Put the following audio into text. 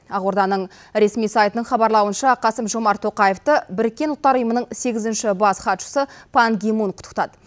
ақорданың ресми сайтының хабарлауынша қасым жомарт тоқаевты біріккен ұлттар ұйымының сегізінші бас хатшысы пан ги мун құттықтады